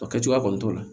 O kɛ cogoya kɔni t'o la